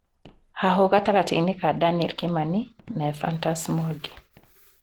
Hahũ gatagatĩ ka Daniel Kimani na Ephantus Mwangi